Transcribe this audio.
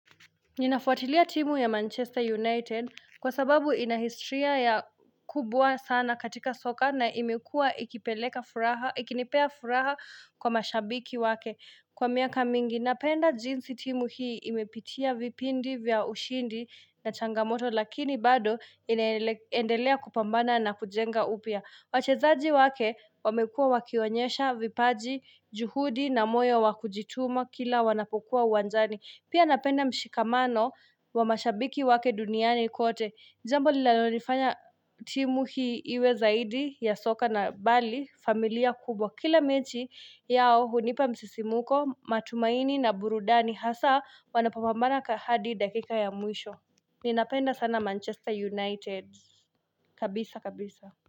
Ninafuatilia timu ya Manchester United kwa sababu ina historia kubwa sana katika soka na imekua ikinipea furaha kwa mashabiki wake. Kwa miaka mingi napenda jinsi timu hii imepitia vipindi vya ushindi na changamoto lakini bado inaendelea kupambana na kujenga upya. Wachezaji wake wamekua wakionyesha, vipaji, juhudi na moyo wa kujituma kila wanapokuwa uwanjani. Pia napenda mshikamano wa mashabiki wake duniani kote. Jambo linalolifanya timu hii iwe zaidi ya soka na bali, familia kubwa. Kila mechi yao hunipa msisimuko, matumaini na burudani. Hasa wanapopambana hadi dakika ya mwisho. Ninapenda sana Manchester United. Kabisa, kabisa.